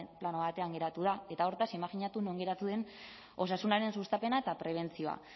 plano batean geratu da eta hortaz imajinatu non geratu den osasunaren sustapena eta prebentzioa